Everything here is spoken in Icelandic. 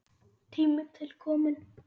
Tími til kominn.